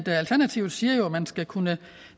alternativet siger jo at man skal kunne